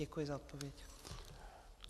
Děkuji za odpověď.